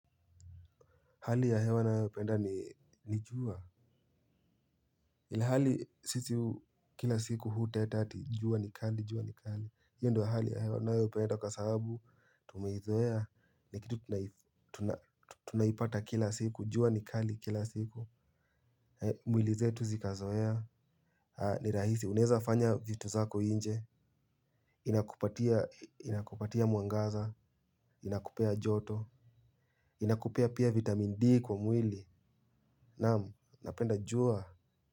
Hali ya hewa ninayopenda ni jua. Hali sisi kila siku huteta eti jua ni kali jua ni kali. Hiyo ndiyo ya hali ya hewa ninayopenda kwa sababu tumeizoea ni kitu tunaipata kila siku jua ni kali kila siku. Mwili zetu zikazoea. Ni rahisi unaweza fanya vitu zako nje. Inakupatia mwangaza. Inakupea joto. Inakupea pia vitamin D kwa mwili. Naam napenda jua.